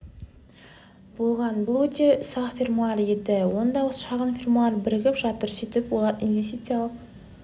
болған бұл өте ұсақ фермалар еді енді осы шағын фермалар бірігіп жатыр сөйтіп олар инвестициялық